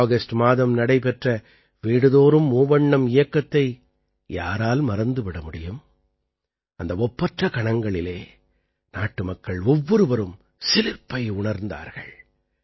August மாதம் நடைபெற்ற வீடுதோறும் மூவண்ணம் இயக்கத்தை யாரால் மறந்து விட முடியும் அந்த ஒப்பற்ற கணங்களிலே நாட்டுமக்கள் ஒவ்வொருவரும் சிலிர்ப்பை உணர்ந்தார்கள்